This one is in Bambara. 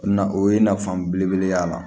Na o ye nafa belebele y'a la